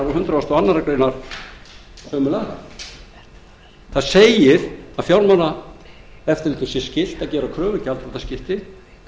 og fyrstu grein og hundrað og aðra grein sömu laga segja að fjármálaeftirlitinu sé skylt að gera kröfu um gjaldþrotaskipti